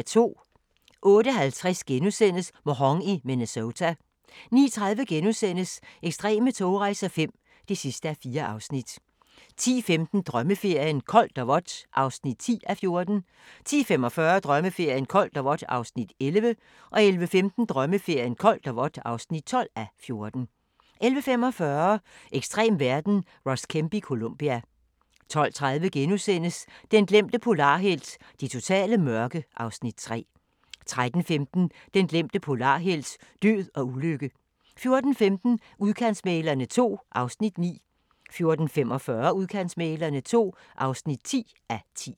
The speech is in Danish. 08:50: Mhong i Minnesota * 09:30: Ekstreme togrejser V (4:4)* 10:15: Drømmeferien: Koldt og vådt (10:14) 10:45: Drømmeferien: Koldt og vådt (11:14) 11:15: Drømmeferien: Koldt og vådt (12:14) 11:45: Ekstrem verden - Ross Kemp i Colombia 12:30: Den glemte polarhelt: Det totale mørke (Afs. 3)* 13:15: Den glemte polarhelt: Død og ulykke 14:15: Udkantsmæglerne II (9:10) 14:45: Udkantsmæglerne II (10:10)